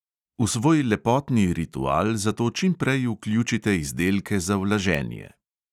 V svoj lepotni ritual zato čim prej vključite izdelke za vlaženje.